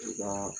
U ka